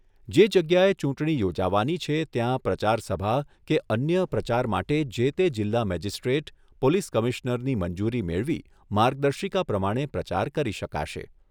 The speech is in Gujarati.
જે જગ્યાએ ચૂંટણી યોજાવાની છે ત્યાં પ્રચારસભા કે અન્ય પ્રચાર માટે જે તે જિલ્લા મેજીસ્ટ્રેટ, પોલીસ કમિશ્નરની મંજૂરી મેળવી માર્ગદર્શિકા પ્રમાણે પ્રચાર કરી શકાશે